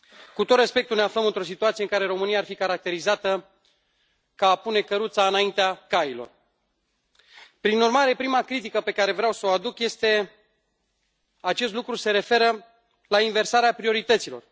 Cu tot respectul, ne aflăm într o situație care, în România, ar fi caracterizată ca a pune căruța înaintea cailor. Prin urmare, prima critică pe care vreau să o aduc este că acest lucru se referă la inversarea priorităților.